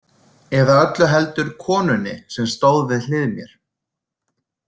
Eða öllu heldur konunni sem stóð við hlið mér.